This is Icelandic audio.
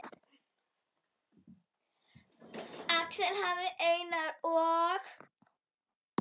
Axel hafði Einar og